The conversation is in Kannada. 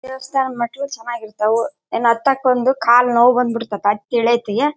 ದೇವಸ್ಥಾನದ ಮೆಟ್ಟಿಲು ಚೆನ್ನಾಗಿ ಇರ್ತ್ತವು ಇನ್ನ ಹತ್ತಕ್ಕೆ ಒಂದು ಕಾಲು ನೋವು ಬಂದ್ ಬಿಡ್ತತ್ತೆ ಹತ್ತಿ ಇಳಿಯ ಹೊತ್ತಿಗೆ.